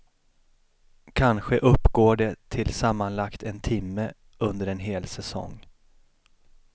Kanske uppgår de till sammanlagt en timme under en hel säsong.